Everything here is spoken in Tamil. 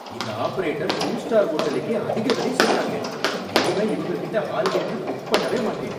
இந்த ஆபரேட்டர் டூ ஸ்டார் ஹோட்டலுக்கே அதிக விலை சொல்றாங்க, இனிமே இவங்ககிட்ட ஹாலிடே ட்ரிப் புக் பண்ணவே மாட்டேன்.